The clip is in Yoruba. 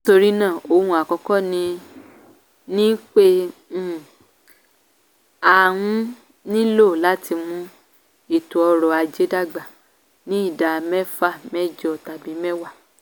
nítorí náà ohun àkọ́kọ́ ni ni pé um a um nílò láti mú ètò ọrọ̀ ajé dàgbà ní ìdá mẹ́fàmẹ́jọ tàbí mẹ́wàá.